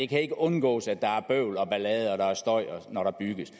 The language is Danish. kan undgås at der er bøvl ballade og støj når der bygges